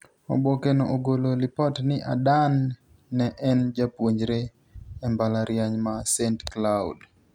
Oboke no ogolo lipot ni Adan ne en japuonjre e mblala riany ma St Cloud.